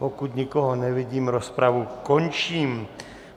Pokud nikoho nevidím, rozpravu končím.